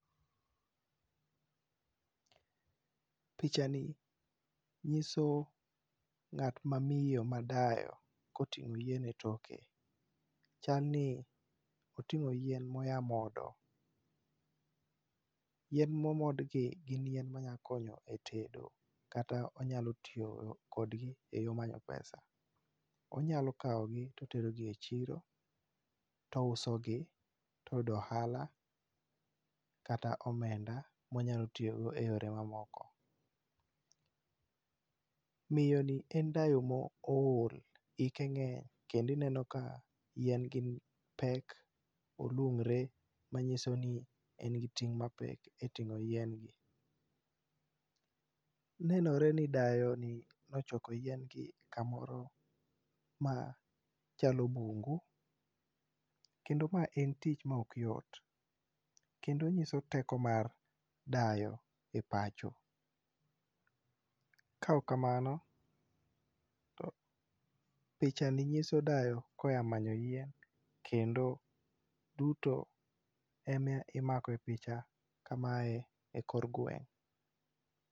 Pichani nyiso ng'at mamiyo madayo koting'o yien etoke, chal ni oting'o yien moa modo. Yien momod gi gin yien manyalo konyo e tedo kata onyalo tiyo kodgi eyor manyo pesa. Onyalo kawogi to oterogi e chiro to ousogi to oyudo ohala kata omenda monyalo tiyogo eyore mamoko . Miyoni en dayo ma ool, hike ng'eny kendo ineno ka yien gi pek , olung're manyiso ni en gi pek e ting'o yien gi. Nenore ni dayoni ne ochoko yien gi kamoro ma chalo bungu kendo mae en tich maok yot kendo onyiso teko mar dayo e pacho kaok kamano, pichani nyiso dayo koa manyo yien kendo duto en ema imako e picha kamae ekor gweng'